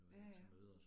Ja ja